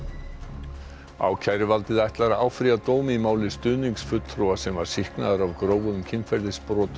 ákæruvaldið ætlar að áfrýja dómi í máli stuðningsfulltrúa sem var sýknaður af grófum kynferðisbrotum gegn börnum